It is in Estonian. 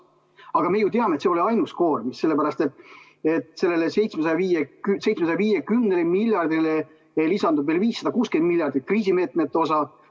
Aga me ju teame, et see ei ole ainus koormis, sellepärast et sellele 750 miljardile lisandub veel 560 miljardit kriisimeetmete osa.